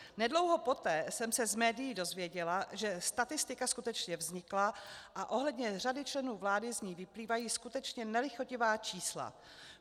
Nedlouho poté jsem se z médií dozvěděla, že statistika skutečně vznikla a ohledně řady členů vlády z ní vyplývají skutečně nelichotivá čísla.